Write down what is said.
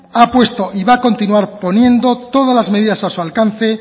ha puesto y va a continuar poniendo todas las medidas a su alcance